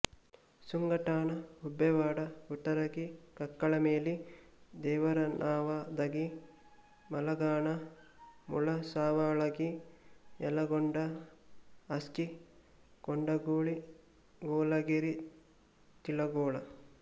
Sungathana Gubbewad Guttaragi Kakkalameli Devaranavadagi Malghan Mulasavalagi Yalagod Aski Kondaguli Golageri Tilagol